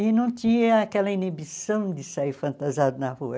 E não tinha aquela inibição de sair fantasiado na rua.